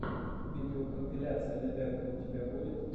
видеокомпиляция лидэрка у тебя будет